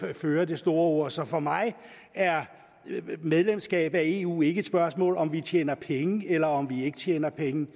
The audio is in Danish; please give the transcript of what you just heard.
der fører det store ord så for mig er medlemskab af eu ikke et spørgsmål om om vi tjener penge eller ikke tjener penge